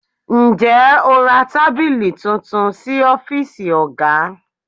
Ǹjẹ́ o ra tábìlì tuntun sí ọ́fíìsì oga?